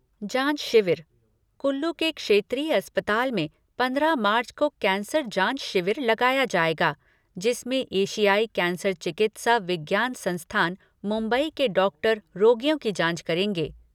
जाँच शिविर कुल्लू के क्षेत्रीय अस्पताल में पंद्रह मार्च को कैंसर जाँच शिविर लगाया जाएगा जिसमें एशियाई कैंसर चिकित्सा विज्ञान संस्थान, मुम्बई के डॉक्टर रोगियों की जांच करेंगे।